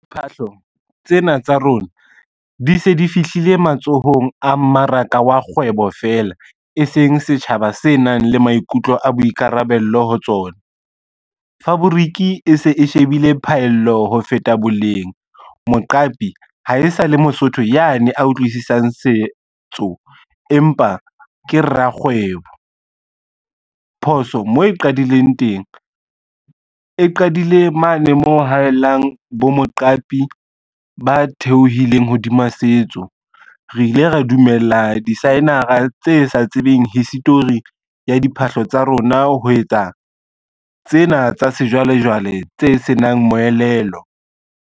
Phahlo tsena tsa rona di se di fihlile matsohong a mmaraka wa kgwebo fela, e seng setjhaba se nang le maikutlo a boikarabello ho tsona, fabric e se e shebile phaello ho feta boleng. Moqapi ha e sa le Mosotho ya ne a utlwisisang setso, empa ke rakgwebo. Phoso mo e qadileng teng, e qadile mane mo hahelang bo moqapi ba theohileng hodima setso. Re ile ra dumella disaenara tse sa tsebeng history ya diphahlo tsa rona ho etsa tsena tsa sejwalejwale tse senang moelelo.